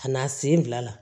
Ka na sen bila la